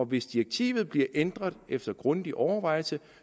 hvis direktivet bliver ændret efter grundig overvejelse